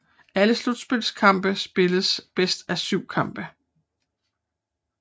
Alle slutspilskampene spilles bedst af syv kampe